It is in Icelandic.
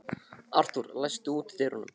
Arthúr, læstu útidyrunum.